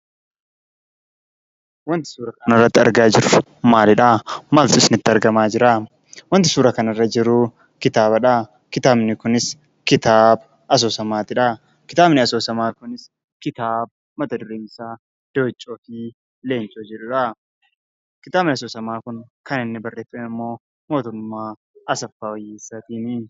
Wanti nuti argaa jirru maalidhaa? Maaltu isinitti argamaa jiraa? Wanti suuraa kanarra jiru kitaabadhaa. Kitaabichis kitaaba asoosamaadha. Kitaabni asoosamaa kunis kitaaba mat-dureen isaa "Dooccoo fi Leencoo" jedhuudha. Kitaabni asoosamaa kunimmoo kan inni barreeffame immoo Mootummaa Asaffaa Wayyeessaatiini.